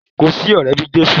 Kò sí ọrẹ bi Jesu.